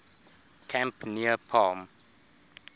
camp near palm